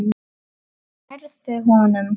Nærðu honum?